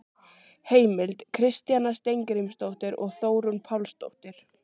Heimild: Kristjana Steingrímsdóttir og Þórunn Pálsdóttir.